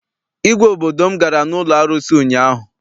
Igwe obodo m gara n'ụlọ arụsị ụnyaahụ.